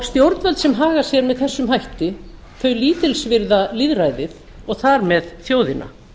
stjórnvöld sem haga sér með þessum hætti lítilsvirða lýðræðið og þar með þjóðina